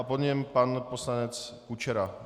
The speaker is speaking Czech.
A po něm pan poslanec Kučera.